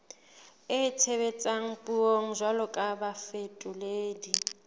itshebetsang puong jwalo ka bafetoledi